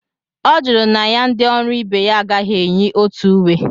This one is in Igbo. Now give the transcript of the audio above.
Ọ jụrụ na ya na ndị ọrụ ibe ya agaghi enyi otu uwe